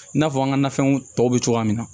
I n'a fɔ an ka nafɛnw tɔw bɛ cogoya min na